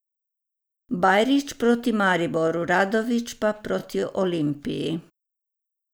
Bajrić proti Mariboru, Radović pa proti Olimpiji.